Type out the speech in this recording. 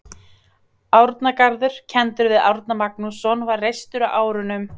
Árnagarður, kenndur við Árna Magnússon, var reistur á árunum